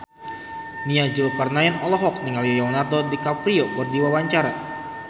Nia Zulkarnaen olohok ningali Leonardo DiCaprio keur diwawancara